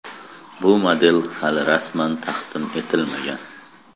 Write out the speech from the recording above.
Bu model hali rasman taqdim etilmagan.